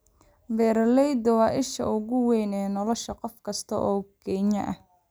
Beeraleydu waa isha ugu weyn ee nolosha qof kasta oo Kenyan ah